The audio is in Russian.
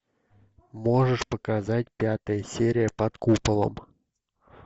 можешь показать пятая серия под куполом